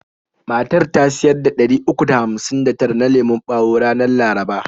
Matar ta siyar da ɗari uku da hamsin da tara na lemon bawo ranar laraba.